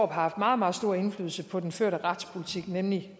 har haft meget meget stor indflydelse på den førte retspolitik nemlig